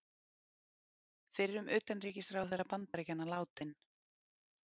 Fyrrum utanríkisráðherra Bandaríkjanna látinn